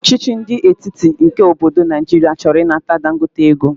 ọchịchị ndi etiti nke obodo Naijiria choro inata Dangote ego.